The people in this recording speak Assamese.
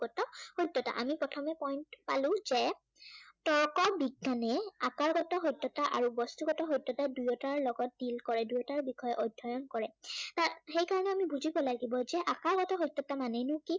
সত্য়তা। আমি প্ৰথমে উম পালো যে, তৰ্ক বিজ্ঞানে আকাৰগত সত্য়তা আৰু বস্তুগত সত্য়তা দুয়োটাৰ লগত deal কৰে দুয়োটাৰ বিষয়ে অধ্য়য়ণ কৰে। তাৰ সেই কাৰনে আমি বুজিব লাগিব যে আকাৰগত সত্য়তা মানেনো কি?